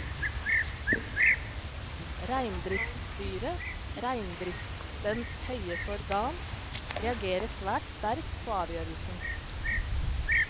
Reindriftsstyret, reindriftens høyeste organ, reagerer svært sterkt på avgjørelsen.